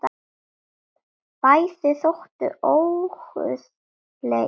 Bæði þóttu óguðleg í tali.